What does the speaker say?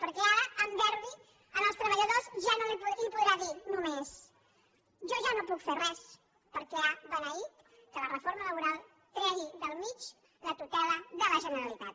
perquè ara a derbi als treballadors els podrà dir només jo ja no hi puc fer res perquè ha beneït que la reforma laboral tregui del mig la tutela de la generalitat